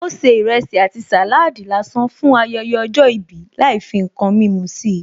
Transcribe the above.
Ó se ìrẹsì àti saladi lásán fún ayẹyẹ ọjọ́ ìbí láì fi ǹkan mímú sí i